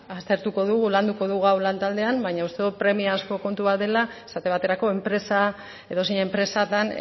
aztertuko dugu landuko dugu hau lantaldean baina uste dut premia askoko kontua dela esate baterako edozein enpresatan